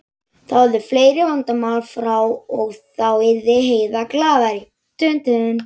Þá yrðu fleiri vandamál frá og þá yrði Heiða glaðari.